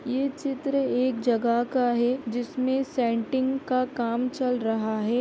ये चित्र एक जगह का है जिसमें सेंटिंग का काम चल रहा है।